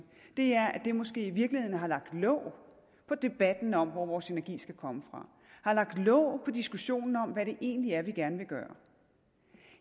er at det måske i virkeligheden har lagt låg på debatten om hvor vores energi skal komme fra har lagt låg på diskussionen om hvad det egentlig er vi gerne vil gøre